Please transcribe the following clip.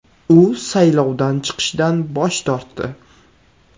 U saylovdan chiqishdan bosh tortdi.